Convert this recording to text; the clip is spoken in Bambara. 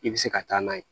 I bɛ se ka taa n'a ye